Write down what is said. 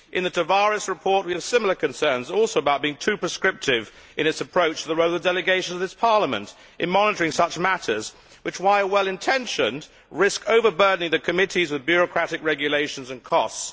In the Tavares report we have similar concerns, also about being too prescriptive in its approach to the role of the delegations of this Parliament in monitoring such matters which, while well intentioned, risk overburdening the committees with bureaucratic regulations and costs.